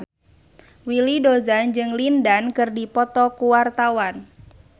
Willy Dozan jeung Lin Dan keur dipoto ku wartawan